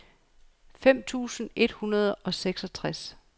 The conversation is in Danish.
fem tusind et hundrede og seksogtres